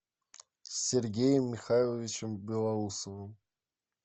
сергеем михайловичем белоусовым